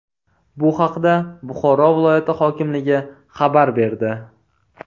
Bu haqda Buxoro viloyati hokimligi xabar berdi .